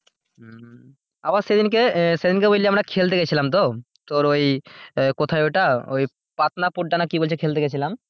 আবার সেদিন কে সেদিন কে বুঝলি আমরা খেলতে গিয়েছিলাম তো তোর ওই কোথায় ওটা পাটনাপুড্ডা না কি বলছে খেলতে গিয়েছিলাম।